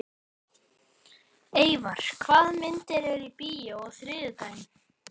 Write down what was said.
Eyvar, hvaða myndir eru í bíó á þriðjudaginn?